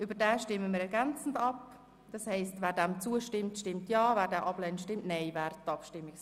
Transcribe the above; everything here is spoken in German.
Demzufolge stimmen wir ergänzend über den Eventualantrag Haas ab.